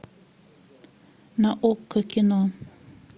на окко кино